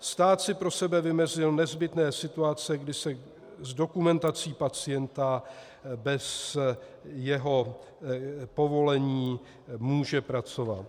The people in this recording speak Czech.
Stát si pro sebe vymezil nezbytné situace, kdy se s dokumentací pacienta bez jeho povolení může pracovat.